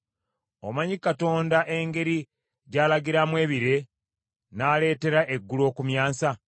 Omanyi Katonda engeri gy’alagiramu ebire, n’aleetera eggulu okumyansa?